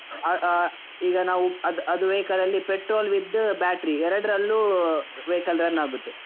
ಆ ಆ ಈಗ ನಾವು ಅದ್~ ಅದು vehicle ಅಲ್ಲಿ petrol with battery , ಎರಡ್ರಲ್ಲೂ vehicle run ಆಗುತ್ತೆ.